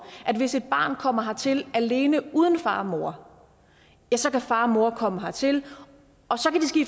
at hvis et barn kommer hertil alene uden far og mor så kan far og mor komme hertil og så